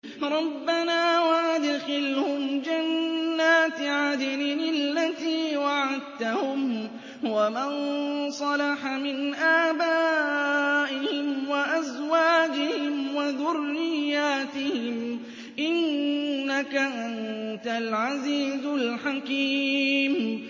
رَبَّنَا وَأَدْخِلْهُمْ جَنَّاتِ عَدْنٍ الَّتِي وَعَدتَّهُمْ وَمَن صَلَحَ مِنْ آبَائِهِمْ وَأَزْوَاجِهِمْ وَذُرِّيَّاتِهِمْ ۚ إِنَّكَ أَنتَ الْعَزِيزُ الْحَكِيمُ